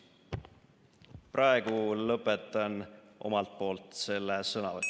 Praegu lõpetan omalt poolt selle sõnavõtu.